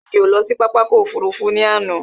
Rárá, mí ò lọ sí pápá ọkò òfurufú ní àná.